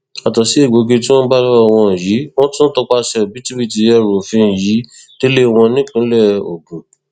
yàtọ sí egbòogi tí wọn bá lọwọ wọn yìí wọn tún tọpasẹ òbítíbitì ẹrù òfin yìí délé wọn nípìnlẹ ogun